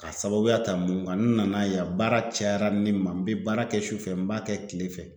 K'a sababuya ta mun kan n'u nana yan baara cayara ni ma n bɛ baara kɛ sufɛ n b'a kɛ tilefɛ